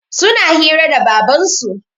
Suna hira da Babansu.